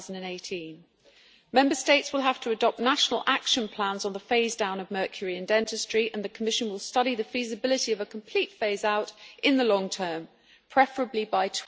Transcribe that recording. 2018. Member States will have to adopt national action plans on the phase down of mercury in dentistry and the Commission will study the feasibility of a complete phase out in the long term, preferably by